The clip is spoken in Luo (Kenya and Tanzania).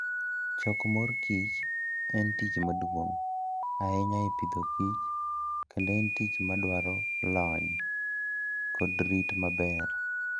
Choko mor kich en tich maduong' ahinya e Agriculture and Food, kendo en tich madwaro lony kod rit maber.